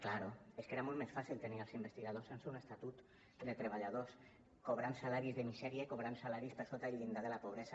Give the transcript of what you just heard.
clar és que era molt més fàcil tenir els investigadors sense un estatut de treballadors cobrant salaris de misèria i cobrant salaris per sota del llindar de la pobresa